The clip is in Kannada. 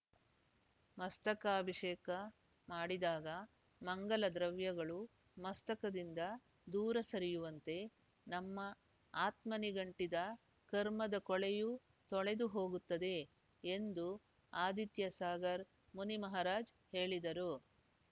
ಮಸ್ತಕಾಭಿಷೇಕ ಮಾಡಿದಾಗ ಮಂಗಲ ದ್ರವ್ಯಗಳು ಮಸ್ತಕದಿಂದ ದೂರ ಸರಿಯುವಂತೆ ನಮ್ಮ ಆತ್ಮನಿಗಂಟಿದ ಕರ್ಮದ ಕೊಳೆಯೂ ತೊಳೆದು ಹೋಗುತ್ತದೆ ಎಂದು ಆದಿತ್ಯ ಸಾಗರ್ ಮುನಿಮಹಾರಾಜ್ ಹೇಳಿದರು